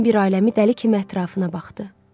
Gecənin bir aləmi dəli kimi ətrafına baxdı.